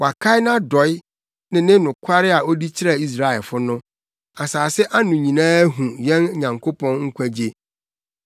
Wakae nʼadɔe ne ne nokware a odi kyerɛɛ Israelfo no; asase ano nyinaa ahu yɛn Nyankopɔn nkwagye.